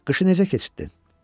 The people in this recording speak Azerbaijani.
Qışı necə keçirtdin?